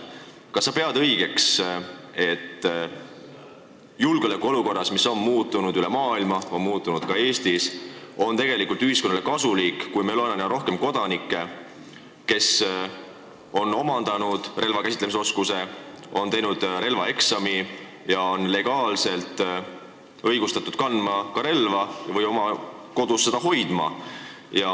Kas sa pead õigeks, et julgeolekuolukorras, mis on üle maailma muutunud ja on muutunud ka Eestis, on tegelikult ühiskonnale kasulik, kui meil on rohkem kodanikke, kes on omandanud relva käsitsemise oskuse, on teinud relvaeksami ja on legaalselt õigustatud relva kandma või seda oma kodus hoidma?